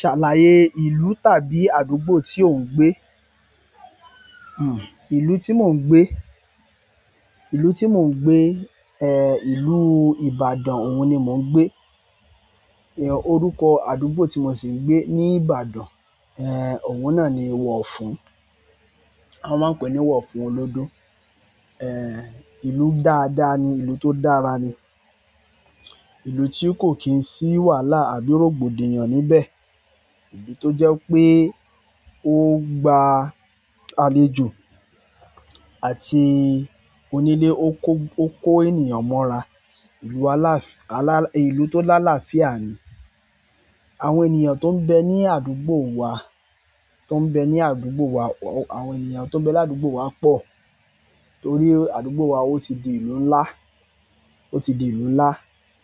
Ṣàlàyé ìlú tàbí àdúgbò tí ò ń gbé. Hmm, ìlú tí mò ń gbé, ìlú tí mò ń gbé, ìlú Ibadan òun ni mò ń gbé. Orúkọ àdúgbò tí mo sì ń gbé ní Ibadan, òun náà ni Wọ̀fún, wọ́n máa ń pè ní Wọ̀fún Olódó. Ìlú dáadáa ni, ìlú tó dára ni, ìlú tí kò kí n sí wàhálà àbí rògbòdìyàn níbẹ̀. Ìlú tó jẹ́ pé ó gba àlejò àti onílé, ó kó, ó kó ènìyàn mọ́ra. Ìlú alàáf- alà-- ìlú tó lálàáfíà ni. Àwọn ènìyàn tó ń bẹ ní àdúgbò wa, tó ń bẹ ní àdúgbò wa, àwọn ènìyàn tó ń bẹ l'àdúgbò wa pọ̀ torí àdúgbò wa ó ti di ìlú ńlá, ó ti di ìlú ńlá.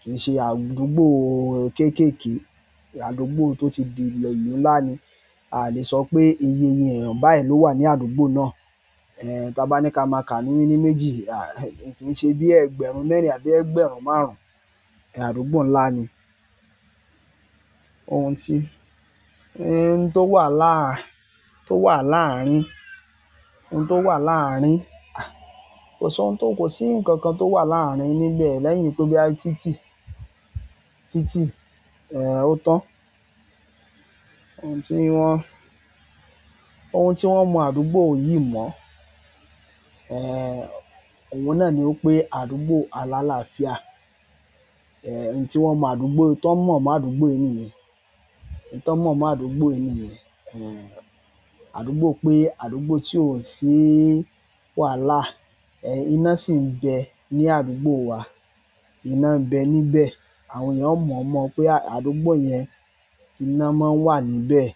Kì í ṣe àdúgbò kéékèèké, àdúgbò tó ti di ìlú ńlá ni. A a lè sọ pé iyeeye èèyàn báyìí ló wà ní àdúgbò náà. Taa ba ni ka ma ka ni mini méjì, ah! Ki i se bi i ẹgbẹ̀rún mẹ́rin àbí ẹgbẹ̀rún márùn, àdúgbò ńlá ni. Ohun tí, ohun tó wà láàár- tó wà láàárín, ohun tó wà láàárín, kò sohun tó, kò sí nǹkan kan tó wà láàárín níbẹ̀ lẹ́yìn pé boya títì, títì, ó tán. Ohun tí wọ́n, ohun tí wọ́n mọ àdúgbò yìí mọ́, òun náà ni wipé àdúgbò aláláafíà. N tí wọ́n mọ̀ àdúgbò, tan mọ̀ mọ́ àdúgbò yìí niyen, n tan mọ̀ mọ́ àdúgbò yìí niyen, àdúgbò pé àdúgbò tí ò sí wàhálà, iná sì ń bẹ ní àdúgbò wa. Iná ń bẹ níbẹ̀, àwọn èèyàn ó mọ̀ mọ́ pé àdúgbò yẹn, iná máa ń wà níbẹ̀.